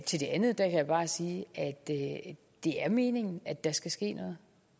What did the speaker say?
til det andet kan jeg bare sige at det er meningen at der skal ske noget